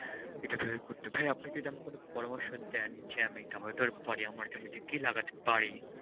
ভাই আপনি যদি আমাকে পরামর্শ দেন যে আমি টমেটোর পরে আমার জমিতে কি লাগাতে পারি?